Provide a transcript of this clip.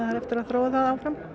eftir að þróa það áfram